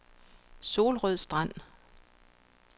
Solrød Strand